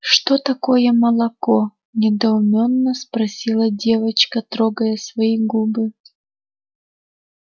что такое молоко недоуменно спросила девочка трогая свои губы